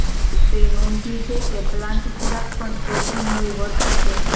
તે નોંધ્યું છે કે પ્લાન્ટ ખોરાક પણ પ્રોટીન હોય વર્થ છે